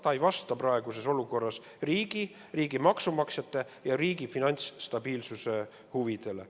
See ei vasta praeguses olukorras riigi, meie maksumaksjate ja riigi finantsstabiilsuse huvidele.